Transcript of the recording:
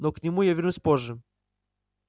но к нему я вернусь позже